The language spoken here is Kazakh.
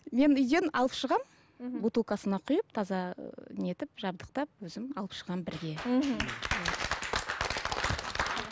мен үйден алып шығамын мхм бутылкасына құйып таза не етіп жабдықтап өзім алып шығамын бірге мхм